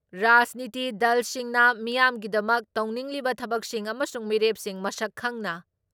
ꯔꯥꯖꯅꯤꯇꯤ ꯗꯜꯁꯤꯡꯅ ꯃꯤꯌꯥꯝꯒꯤꯗꯃꯛ ꯇꯧꯅꯤꯡꯂꯤꯕ ꯊꯕꯛꯁꯤꯡ ꯑꯃꯁꯨꯡ ꯃꯤꯔꯦꯞꯁꯤꯡ ꯃꯁꯛ ꯈꯪꯅ